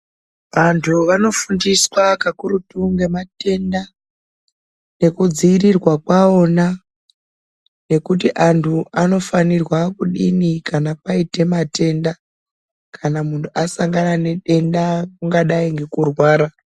Antu anofundiswa kakurutu ngematenda nekudziirirwa kwawona, nekuti antu anofanirwa kudini kana paite matenda kana munhu asangana nedenda kungadai ngekurwara.